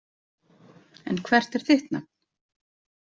En hvert er þitt nafn?